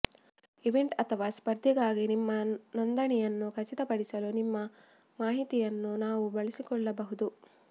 event ಅಥವಾ ಸ್ಪರ್ಧೆಗಾಗಿ ನಿಮ್ಮ ನೋಂದಣಿಯನ್ನು ಖಚಿತಪಡಿಸಲು ನಿಮ್ಮ ಮಾಹಿತಿಯನ್ನು ನಾವು ಬಳಸಿಕೊಳ್ಳಬಹುದು